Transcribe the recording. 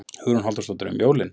Hugrún Halldórsdóttir: Um jólin?